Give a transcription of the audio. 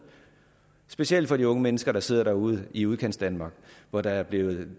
specielt for de unge mennesker der sidder derude i udkantsdanmark hvor det er blevet